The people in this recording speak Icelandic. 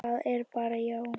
Það er bara já.